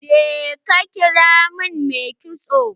Je ka kira min mai kitson!